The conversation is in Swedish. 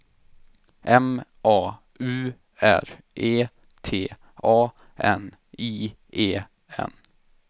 M A U R E T A N I E N